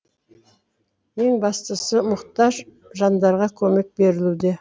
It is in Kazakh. ең бастысы мұқтаж жандарға көмек берілуде